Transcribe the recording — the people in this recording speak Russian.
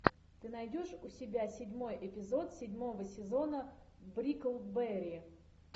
ты найдешь у себя седьмой эпизод седьмого сезона бриклберри